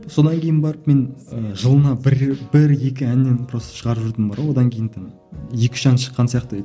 содан кейін барып мен ііі жылына бір бір екі әннен просто шығарып жүрдім бар ғой одан кейін там екі үш ән шыққан сияқты